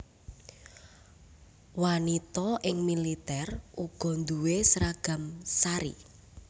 Wanita ing militer uga duwé seragam sari